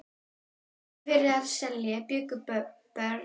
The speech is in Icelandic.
Í Eskifjarðarseli bjuggu börn Kjartans Péturssonar.